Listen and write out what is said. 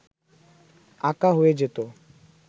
আঁকা হয়ে যেত